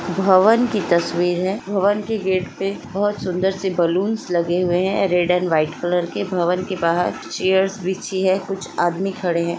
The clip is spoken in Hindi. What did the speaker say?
भवन की तस्वीर है भवन के गेट पे बोहोत सुंदर से बलून्स लगे हुए है रेड एंड व्हाइट कलर भवन के बाहर चेयर्स बिछी है कुछ आदमी खड़े हैं।